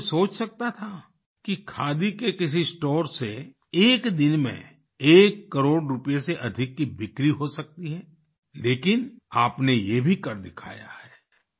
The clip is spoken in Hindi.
क्या कोई सोच सकता था कि खादी के किसी स्टोर से एक दिन में एक करोड़ रुपए से अधिक की बिक्री हो सकती है लेकिन आपने ये भी कर दिखाया है